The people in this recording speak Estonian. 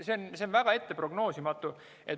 See on väga prognoosimatu.